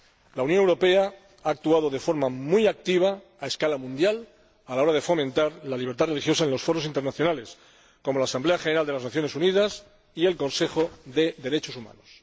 La Unión Europea ha actuado de forma muy activa a escala mundial a la hora de fomentar la libertad religiosa en los foros internacionales, como la Asamblea General de las Naciones Unidas y el Consejo de Derechos Humanos.